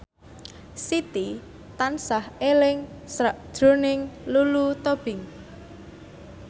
Siti tansah eling sakjroning Lulu Tobing